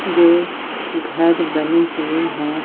जो घर बने हुए हैं।